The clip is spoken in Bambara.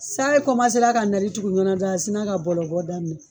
San in kɔmasera ka nali tugu ɲɔgɔn na dɔrɔn a sina ka bɔlɔ bɔ daminɛ